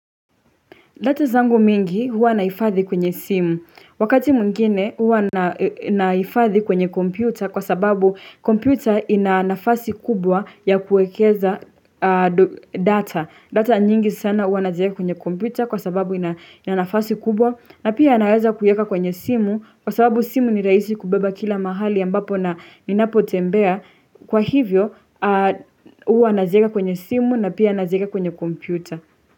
Data zangu mingi huwa naifadhi kwenye simu. Wakati mwingine huwa naifadhi kwenye kompyuta kwa sababu kompyuta ina nafasi kubwa ya kuekeza data. Data nyingi sana huwa naijeka kwenye kompyuta kwa sababu ina nafasi kubwa na pia naweza kuyeka kwenye simu kwa sababu simu ni raisi kubeba kila mahali ambapo na ninapo tembea. Kwa hivyo huwa naijeka kwenye simu na pia naijeka kwenye kompyuta.